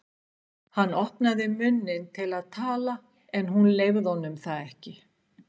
Hann opnaði munninn til að tala en hún leyfði honum það ekki.